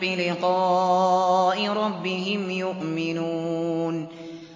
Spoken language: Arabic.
بِلِقَاءِ رَبِّهِمْ يُؤْمِنُونَ